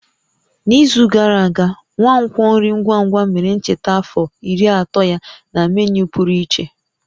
N'izu gara aga, nkwonkwo nri ngwa ngwa mere ncheta afọ 30 ya na menu pụrụ iche